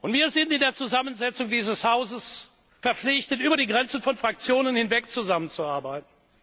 Wir sind in der Zusammensetzung dieses Hauses verpflichtet, über die Grenzen von Fraktionen hinweg zusammenzuarbeiten.